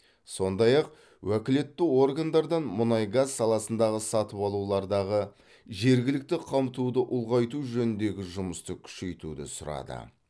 сондай ақ уәкілетті органдардан мұнай газ саласындағы сатып алулардағы жергілікті қамтуды ұлғайту жөніндегі жұмысты күшейтуді сұрады